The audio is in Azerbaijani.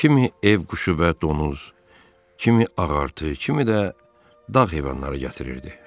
Kimi ev quşu və donuz, kimi ağartı, kimi də dağ heyvanları gətirirdi.